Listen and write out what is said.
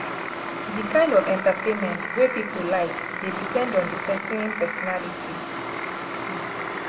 di kind of entertainment wey pipo like dey depend on di person personality